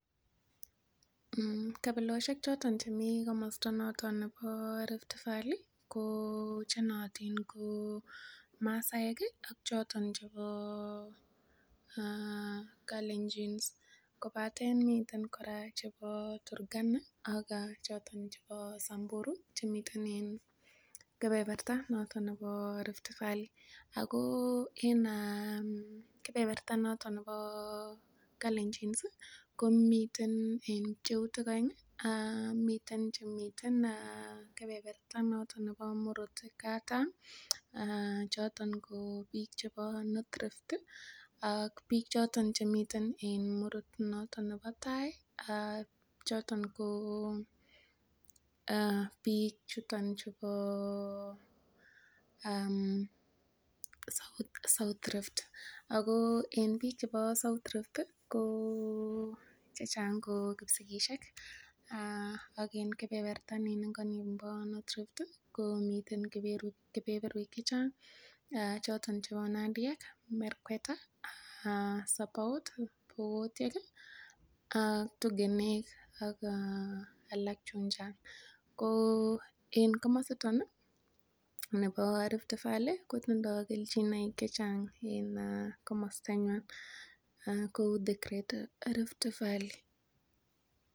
Kabilosiek choto chemi komosto noton nebo Riftvalley ko che nootin ko: Masaaek ak choton chebo Kalenjins, kobate miten kora chebo Turkana ak choto chebo Samburu chemiten en kebeberta noton nebo Riftvalley. Ago en kebeberta noton nebo Klaenjins komiten pcheutik oeng. Miten chemiten kebeberat noton murot kataam choton biik chebo North Rift ak biik choton chemiten en murot noton nebo tai choton ko biik chuton chubo South Rift. Ago en biik chebo South Rift ko chechang ko Kipsigisiek ak en kebeberta nin ingo nimbo North Rift komiten kebeberwek chechang choton chebo; nandiek, merkwet, sabaot, pokotyek ak tugenek ak alak chun chang. Ko en komositok ii nebo Riftvalley kotindo kelchinoik chechang en komostanywan kou the Great Rift Valley.